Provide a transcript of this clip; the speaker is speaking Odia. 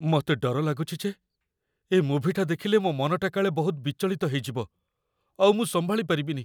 ମତେ ଡର ଲାଗୁଚି ଯେ ଏ ମୁଭିଟା ଦେଖିଲେ ମୋ' ମନଟା କାଳେ ବହୁତ ବିଚଳିତ ହେଇଯିବ, ଆଉ ମୁଁ ସମ୍ଭାଳି ପାରିବିନି ।